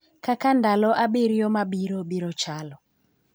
Kaka ndalo abiriyo mabiro biro chalo.